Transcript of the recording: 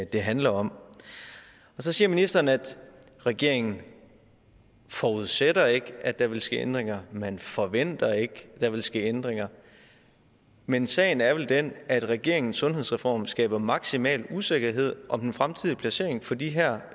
det handler om så siger ministeren at regeringen forudsætter ikke at der vil ske ændringer man forventer ikke at der vil ske ændringer men sagen er vel den at regeringens sundhedsreform skaber maksimal usikkerhed om den fremtidige placering for de her